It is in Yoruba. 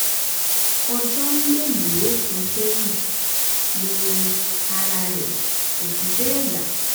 ọjọ́ mélòó kan sẹ́yìn ni ara rẹ̀ kò fi bẹ́ẹ̀ yá